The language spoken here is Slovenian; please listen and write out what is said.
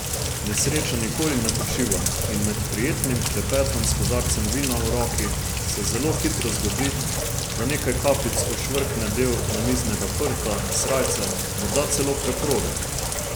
Nesreča nikoli ne počiva in med prijetnim klepetom s kozarcem vina v roki se zelo hitro zgodi, da nekaj kapljic ošvrkne del namiznega prta, srajce, morda celo preproge.